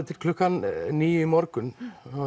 til klukkan níu í morgun